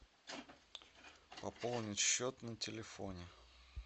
пополнить счет на телефоне